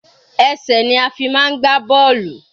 Ẹsẹ̀ ni a fi máa ń gbá bọ́ọ̀lù.